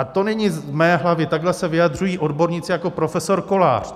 A to není z mé hlavy, takhle se vyjadřují odborníci jako profesor Kolář.